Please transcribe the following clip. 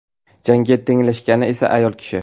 Jangga tenglashgani esa ayol kishi.